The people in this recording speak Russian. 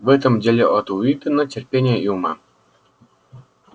в этом деле от уидона терпения и ума